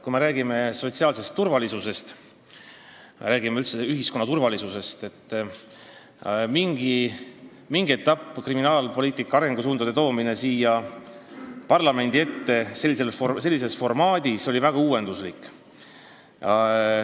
Kui me räägime sotsiaalsest turvalisusest, üldse ühiskonna turvalisusest, siis tuleb öelda, et mingil etapil oli kriminaalpoliitika arengusuundade sellises formaadis siia parlamendi ette toomine väga uuenduslik.